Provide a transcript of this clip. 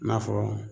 I n'a fɔ